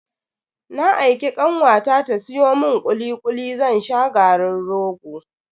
Na aiki kanwata ta siyo mun kuli kuli zan sha garin rogo.